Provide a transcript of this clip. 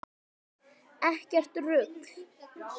Ekkert rugl!